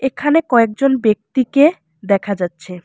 এখানে কয়েকজন ব্যক্তিকে দেখা যাচ্ছে।